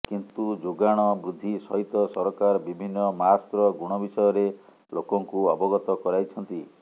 କିନ୍ତୁ ଯୋଗାଣ ବୃଦ୍ଧି ସହିତ ସରକାର ବିଭିନ୍ନ ମାସ୍କର ଗୁଣ ବିଷୟରେ ଲୋକଙ୍କୁ ଅବଗତ କରାଇଛନ୍ତି